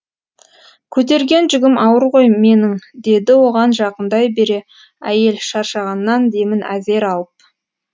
көтерген жүгім ауыр ғой менің деді оған жақындай бере әйел шаршағаннан демін әзер алып